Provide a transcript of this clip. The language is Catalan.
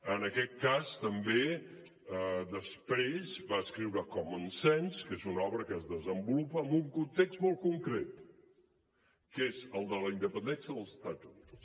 en aquest cas també després va escriure common sense que és una obra que es desenvolupa en un context molt concret que és el de la independència dels estats units